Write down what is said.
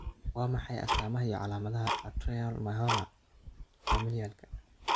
Waa maxay astamaha iyo calaamadaha Atrial myxoma, familialka?